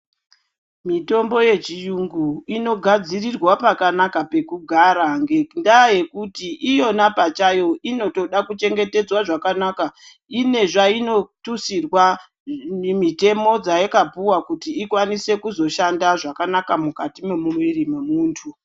Mitombo yechuyungu inogadzirirwa pakanaka pekuga ngendaa yekuti iyona pachayo inotoda kuchengetedzwa zvakanaka. Ine zvainotutsirwa mitemo dzayakapuwa kuti ikwanise kuzoshanda zvakanaka mukati memumwiri memuntu.